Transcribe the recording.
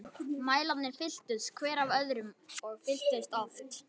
Mælarnir fylltust, hver af öðrum- og fylltust oft.